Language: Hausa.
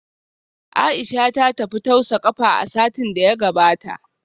Aisha ta tafi tausa kafa a satin da ya gabata